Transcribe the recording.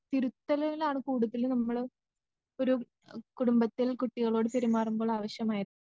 തിരുത്തലിലാണ് കൂടുതല് നമ്മള് ഒരു കുടുംബത്തിൽ കുട്ടികളോട് പെരുമാറുമ്പോളാവശ്യമായത്.